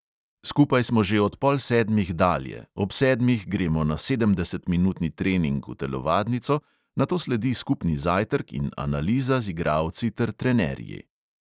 Skupaj smo že od pol sedmih dalje, ob sedmih gremo na sedemdesetminutni trening v telovadnico, nato sledi skupni zajtrk in analiza z igralci ter trenerji.